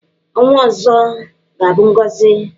Ọnwa ọzọ ga-abụ ngọzị.